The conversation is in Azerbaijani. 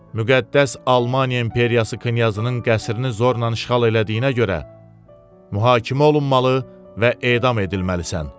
Müqəddəs Almaniya İmperiyası Knyazının qəsrini zorla işğal elədiyinə görə, mühakimə olunmalı və edam edilməlisən.